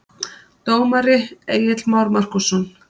Dómari: Egill Már Markússon